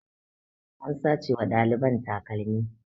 An sace wa ɗaliban takalmi